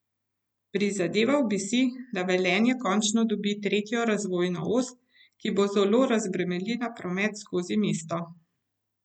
Prizadeval bi si, da Velenje končno dobi tretjo razvojno os, ki bo zelo razbremenila promet skozi mesto.